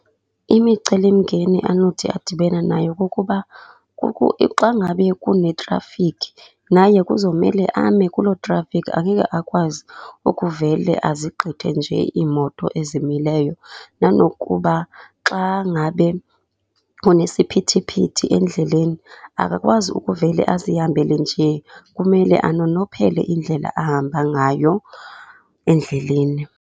Imicelimngeni anothi adibane nayo kukuba xa ngabe kunetrafikhi, naye kuzomele ame kuloo trafikhi, angeke akwazi ukuvele azigqithe nje iimoto ezimileyo. Nanokuba xa ngabe kunesiphithiphithi endleleni, akakwazi ukuvele azihambele nje, kumele anonophele indlela ahamba ngayo endleleni.